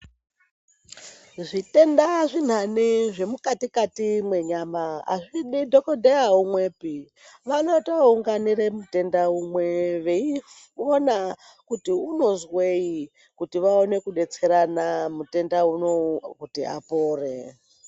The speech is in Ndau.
Zvitenda zvimweni zvemukati kati mwenyama azvidi dhokodheya umwepi vanotoounganira mutenda umwe veiona kuti unozwei kuti vaone kudetserana mutenda unowu kuti apore.